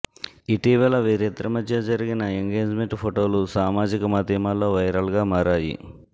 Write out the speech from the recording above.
ఇటీవల వీరిద్దరి మధ్య జరిగిన ఎంగేజ్ మెంట్ ఫొటోలు సామాజిక మాధ్యమాల్లో వైరల్ గా మారాయి